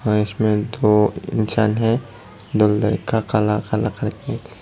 और इसमें दो इंसान है जो लड़का काला काला करके--